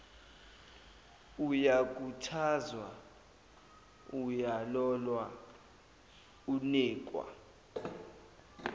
uyakhuthazwa uyalolwa unikwa